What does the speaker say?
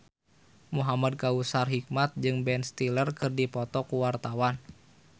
Muhamad Kautsar Hikmat jeung Ben Stiller keur dipoto ku wartawan